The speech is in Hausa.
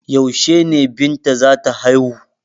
Yaushe ne Binta za ta haihu?